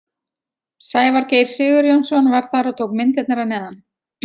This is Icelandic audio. Sævar Geir Sigurjónsson var þar og tók myndirnar að neðan.